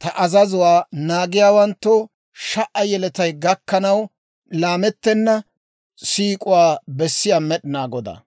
ta azazuwaa naagiyaawanttoo sha"a yeletay gakkanaw laamettena siik'uwaa bessiyaa Med'inaa Godaa.